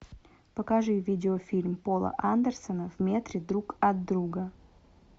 покажи видеофильм пола андерсона в метре друг от друга